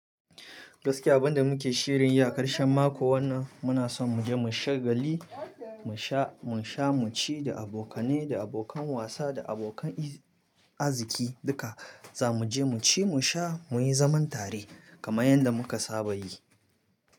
Gaskiya abun da muke shirin yi a ƙarshen mako wannan muna son mu je mu sha gali, mu sha, mu sha, mu ci da abokane, da abokan wasa, da abokan arziki duka. Za mu je mu ci, mu sha, mu yi zaman tare kamar yadda muka saba yi.